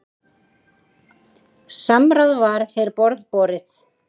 Samráð var fyrir borð borið.